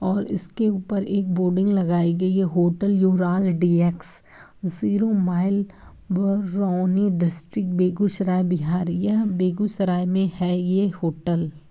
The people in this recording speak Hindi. और इसके ऊपर एक बोर्डिंग लगाई गई है hotel Yuvraj DX. Zero mile Barauni district Begusarai Bihar यह बेगूसराय में है ये होटल ।